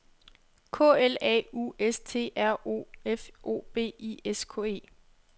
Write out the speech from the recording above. K L A U S T R O F O B I S K E